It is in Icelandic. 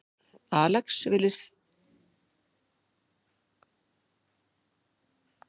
Alex virðist sjálfur ekki hafa fengið að vita fréttirnar áður en þær fóru á netið.